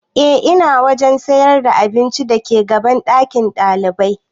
E ina wajen sayar da abincin da ke gaban ɗakin ɗalibai